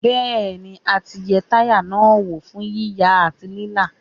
Bẹ́ẹ̀ni a ti yẹ táyà náà wò fún yíya àti lílá.